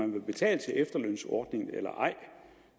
man betaler til efterlønsordningen eller ej